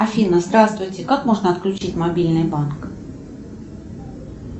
афина здравствуйте как можно отключить мобильный банк